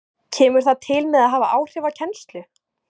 Kemur það til með að hafa áhrif á kennslu?